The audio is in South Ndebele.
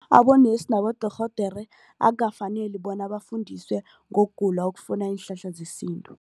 Abonesi nabodorhodera akukafaneli bona bafundiswe ngokugula okufuna iinhlahla zesintu.